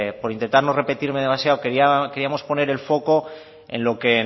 por intentar no repetir demasiado el foco